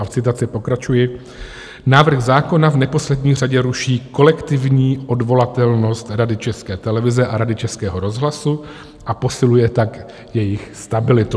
A v citaci pokračuji: "Návrh zákona v neposlední řadě ruší kolektivní odvolatelnost Rady České televize a Rady Českého rozhlasu, a posiluje tak jejich stabilitu.